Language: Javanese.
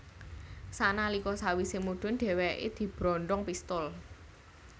Sanalika sawise mudun dheweke dibrondong pistol